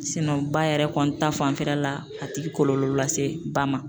ba yɛrɛ kɔni ta fanfɛla la a ti kɔlɔlɔ lase ba ma